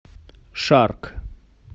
шарк